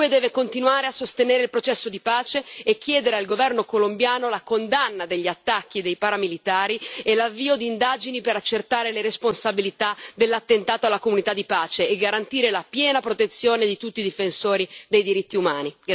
L'UE deve continuare a sostenere il processo di pace e chiedere al governo colombiano la condanna degli attacchi dei paramilitari e l'avvio di indagini per accertare le responsabilità dell'attentato alla comunità di pace e garantire la piena protezione di tutti i difensori dei diritti umani.